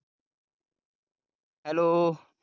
hello